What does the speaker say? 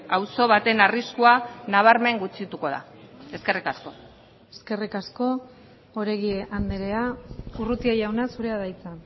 auzo baten arriskua nabarmen gutxituko da eskerrik asko eskerrik asko oregi andrea urrutia jauna zurea da hitza